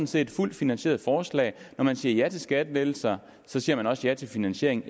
set fuldt finansierede forslag når man siger ja til skattelettelser siger man også ja til finansiering